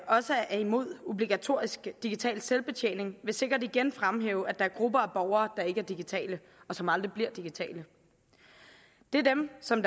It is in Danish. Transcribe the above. også er imod obligatorisk digital selvbetjening vil sikkert igen fremhæve at der er grupper af borgere der ikke er digitale og som aldrig bliver digitale det er dem som